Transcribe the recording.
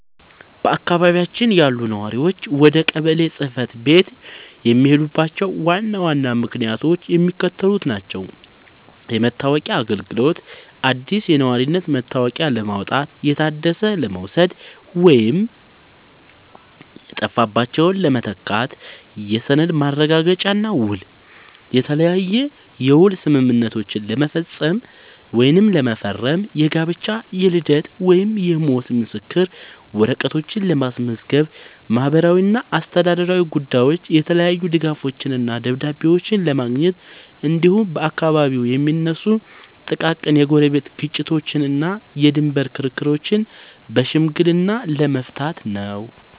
በአካባቢያችን ያሉ ነዋሪዎች ወደ ቀበሌ ጽሕፈት ቤት የሚሄዱባቸው ዋና ዋና ምክንያቶች የሚከተሉት ናቸው፦ የመታወቂያ አገልግሎት፦ አዲስ የነዋሪነት መታወቂያ ለማውጣት፣ የታደሰ ለመውሰድ ወይም የጠፋባቸውን ለመተካት። የሰነድ ማረጋገጫና ውል፦ የተለያየ የውል ስምምነቶችን ለመፈረም፣ የጋብቻ፣ የልደት ወይም የሞት ምስክር ወረቀቶችን ለማስመዝገብ። ማህበራዊና አስተዳደራዊ ጉዳዮች፦ የተለያዩ ድጋፎችንና ደብዳቤዎችን ለማግኘት፣ እንዲሁም በአካባቢው የሚነሱ ጥቃቅን የጎረቤት ግጭቶችንና የድንበር ክርክሮችን በሽምግልና ለመፍታት ነው።